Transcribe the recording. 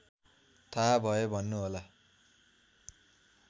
थाहा भए भन्नुहोला